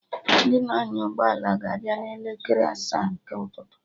Ndị na-anya ụgbọ ala ga abịa na elekere asaa nke ụtụtụ